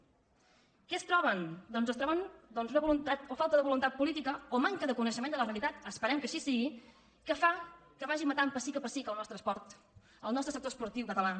què es troben doncs es troben o falta de voluntat política o manca de coneixement de la realitat esperem que així sigui que fa que vagin matant pessic a pessic el nostre esport el nostre sector esportiu català